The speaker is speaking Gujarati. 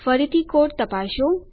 ફરીથી કોડ તપાસો